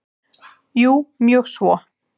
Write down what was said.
Jú mjög svo.